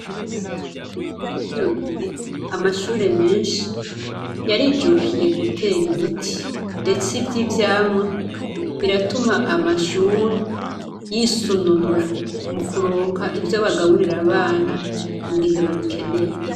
Muri kino gihe, amashure menshi ,yarijukiye guter’ibiti ndetse ivy’ivyamwa ,biratuma amashuri, yisununura mukuronka ivyo bagaburira abana mugihe babikeneye.